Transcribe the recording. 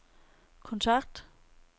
kontakt